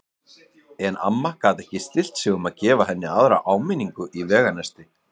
En amma gat ekki stillt sig um að gefa henni aðra áminn- ingu í veganesti.